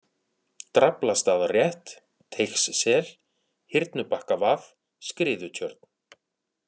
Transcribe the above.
Draflastaðarétt, Teigssel, Hyrnubakkavað, Skriðutjörn